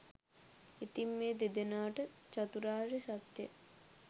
ඉතින් මේ දෙදෙනාට චතුරාර්ය සත්‍යය